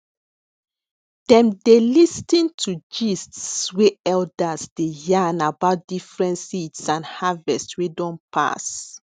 dem dey listin to gists wey elders dey yarn about different seeds and harvest wey don pass